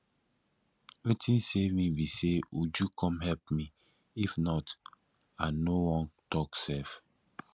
wetin save me be say uju come help me if not i no wan talk sef